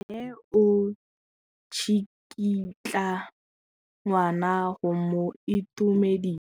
Mme o tsikitla ngwana go mo itumedisa.